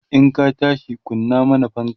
in ka tashi kunna mana fanka!